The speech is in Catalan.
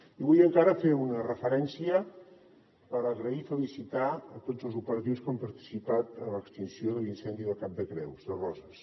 i vull encara fer una referència per agrair i felicitar a tots els operatius que han participat a l’extinció de l’incendi del cap de creus de roses